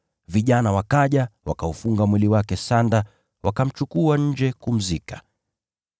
Vijana wakaja, wakaufunga mwili wake sanda, wakamchukua nje kumzika.